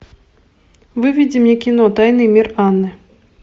выведи мне кино тайный мир анны